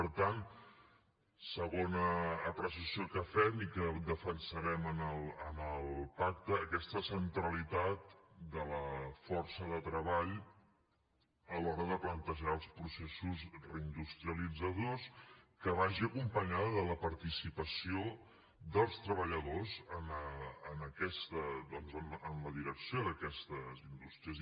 per tant segona apreciació que fem i que defensarem en el pacte aquesta centralitat de la força de treball a l’hora de plantejar els processos reindustrialitzadors que vagi acompanyada de la participació dels treballadors en la direcció d’aquestes indústries